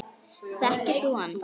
Þekkir þú hann?